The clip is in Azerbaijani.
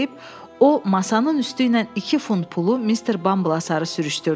Bunu deyib, o masanın üstüylə iki funt pulu Mister Bumble-a sarı sürüşdürdü.